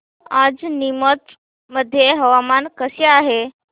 आज नीमच मध्ये हवामान कसे आहे